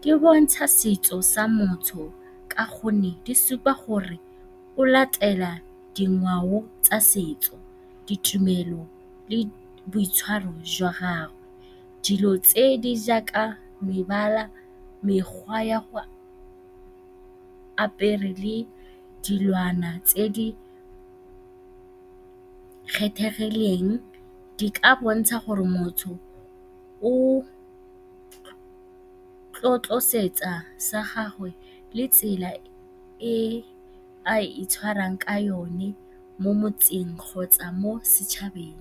di bontsha setso sa montsho ka gonne di supa gore o latela dingwao tsa setso, ditumelo le boitshwaro jwa gago. Dilo tse di jaaka mebala, mekgwa ya go apara le dilwana tse di kgethegileng di ka bontsha gore motho o tlotla setso sa gagwe le tsela e a itshwarang ka yone mo motseng kgotsa mo setšhabeng.